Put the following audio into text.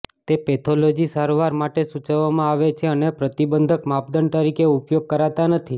તે પેથોલોજી સારવાર માટે સૂચવવામાં આવે છે અને પ્રતિબંધક માપદંડ તરીકે ઉપયોગ કરતા નથી